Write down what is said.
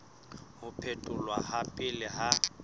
ho phetholwa ha pele ha